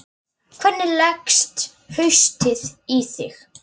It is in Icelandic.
Hvernig leggst haustið í þig?